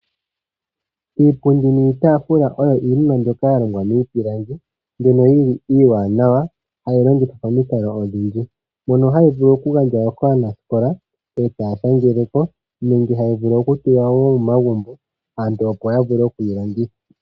Iipundi niitaafula oyo iinima mbyoka yalongwa miipilangi. Mbyono yili iiwaanawa hayi longithwa pamikalo odhindji mbyono hayi vulu okugandjwa kaanaskola yashangeleko nenge tayi tulwa momagumbo aantu opo yavule okuyi longitha.